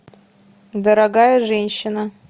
дорогая женщина